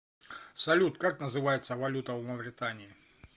салют как называется валюта в мавритании